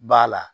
B'a la